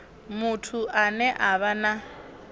muthu ane a vha na